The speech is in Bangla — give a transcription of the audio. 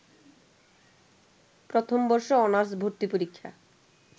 প্রথমবর্ষ অনার্স ভর্তি পরীক্ষা